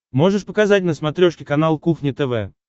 можешь показать на смотрешке канал кухня тв